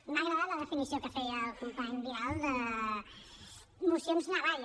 m’ha agradat la definició que feia el company vidal de mocions navalla